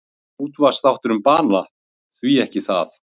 Útvarpsþáttur um banana, því ekki það?